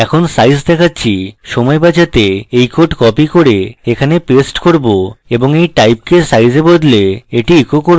এখন size দেখাচ্ছি সময় বাঁচাতে এই code copy করে এখানে paste করব এবং এই type the size এ বদলে the echo করব